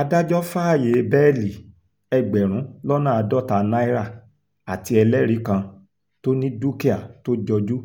adájọ́ fàáyé bẹ́ẹ́lí ẹgbẹ̀rún lọ́nà àádọ́ta náírà àti ẹlẹ́rìí kan tó ní dúkìá tó jọjú